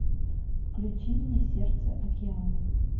включи мне сердце океана